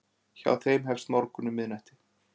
hjá þeim hefst morgunn um miðnætti